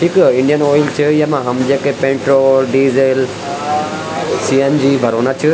ईख Indian oil च येमा हम जेके पेट्रोल डीजल सी.एन.जी. भरोंना च।